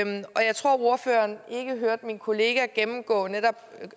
ordføreren hørte min kollega gennemgå netop